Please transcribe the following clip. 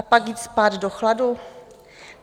A pak jít spát do chladu?